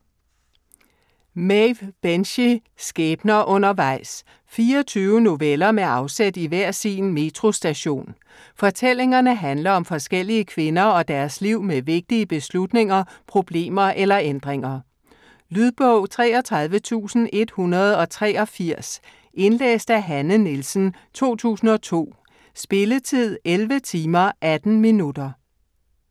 Binchy, Maeve: Skæbner undervejs 24 noveller med afsæt i hver sin metrostation. Fortællingerne handler om forskellige kvinder og deres liv med vigtige beslutninger, problemer eller ændringer. Lydbog 33183 Indlæst af Hanne Nielsen, 2002. Spilletid: 11 timer, 18 minutter.